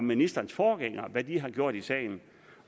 ministerens forgængere har gjort i sagen